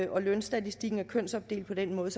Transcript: og lønstatistikken er kønsopdelt på den måde